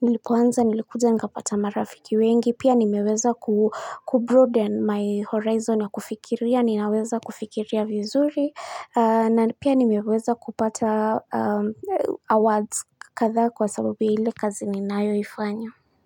nilikuja nilikuja nikapata marafiki wengi, pia nimeweza kubroaden my horizon ya kufikiria, ninaweza kufikiria vizuri na pia nimeweza kupata awards kadhaa kwa sababu ya ile kazi ninayoifanya.